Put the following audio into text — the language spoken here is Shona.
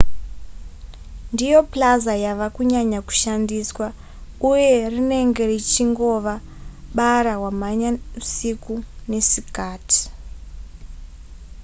ndiyo plaza yava kunyanya kushandiswa uye rinenge richingova bara wamhanya siku nesikati